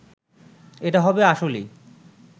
এটা হবে আসলেই